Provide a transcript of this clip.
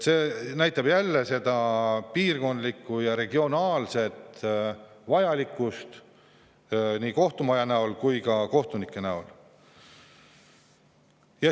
See näitab jälle seda piirkondlikku, regionaalset vajadust nii kohtumaja näol kui ka kohtunike näol.